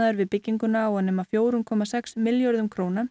við bygginguna á að nema fjóra komma sex milljörðum króna